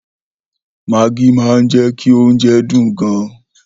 Maggi máa ń jẹ́ kí oúnjẹ dùn gan.